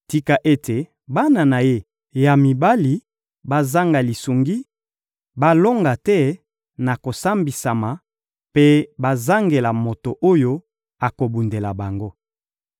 ‹Tika ete bana na ye ya mibali bazanga lisungi, balonga te na kosambisama mpe bazangela moto oyo akobundela bango!